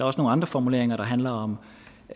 også nogle andre formuleringer der handler om